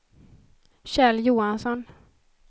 Kjell Johansson